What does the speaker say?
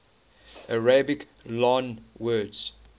arabic loanwords